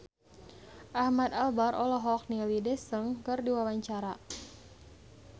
Ahmad Albar olohok ningali Daesung keur diwawancara